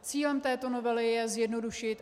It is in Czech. Cílem této novely je zjednodušit.